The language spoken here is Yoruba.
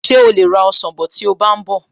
Ṣé o lè ra ọsàn bọ̀ tí o bá ń bọ̀?